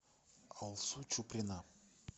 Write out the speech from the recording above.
алсу чуприна